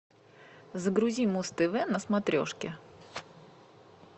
загрузи муз тв на смотрешке